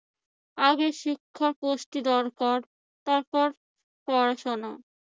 আগে শিক্ষা পুষ্টি দরকার তারপর পড়াশোনা।